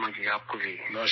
مودی جی آپ کا بھی شکریہ